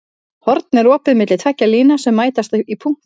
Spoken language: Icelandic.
Horn er opið milli tveggja lína sem mætast í punkti.